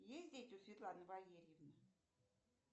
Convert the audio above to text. есть дети у светланы валерьевны